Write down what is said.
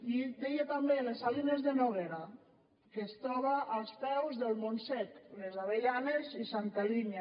i deia també les salines de noguera que es troba als peus del montsec les avellanes i santa linya